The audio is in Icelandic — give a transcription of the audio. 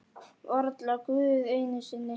Varla Guð einu sinni!